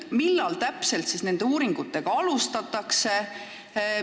Millal täpselt siis neid uuringuid alustatakse?